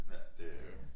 Ja det jo